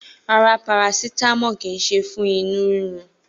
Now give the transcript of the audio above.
Rárá, parasitamọ kí se fún inú rírun.